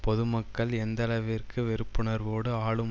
பொதுமக்கள் எந்தளவிற்கு வெறுப்புணர்வோடு ஆளும்